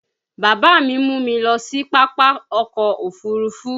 Bàbá mi mú mi lọ sí pápá ọkọ̀ òfuurufú